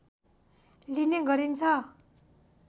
लिने गरिन्छ